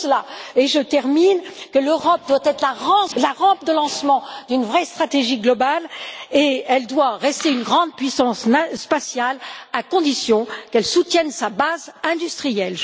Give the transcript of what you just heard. C'est pour cela, et je termine, que l'Europe doit être la rampe de lancement d'une vraie stratégie globale et qu'elle doit rester une grande puissance spatiale, à condition qu'elle soutienne sa base industrielle.